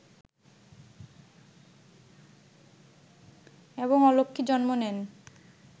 এবং অলক্ষ্মী জন্ম নেন